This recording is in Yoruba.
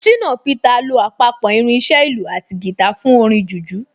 Ṣìnà Peter lo àpapọ̀ irin iṣẹ́ ìlù àti guitar fún orin jùjú